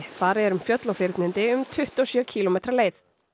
farið er um fjöll og fyrnindi um tuttugu og sjö kílómetra leið